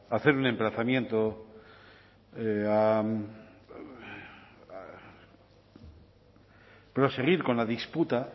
a hacer un emplazamiento a proseguir con la disputa